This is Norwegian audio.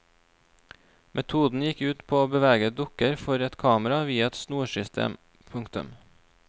Metoden gikk ut på å bevege dukker for et kamera via et snorsystem. punktum